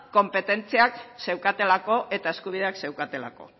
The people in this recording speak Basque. konpetentziak zeukatelako eta eskubideak zeukatelako